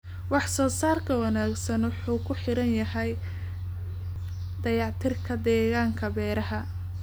Wax soo saarka wanaagsan wuxuu ku xiran yahay dayactirka deegaanka beeraha.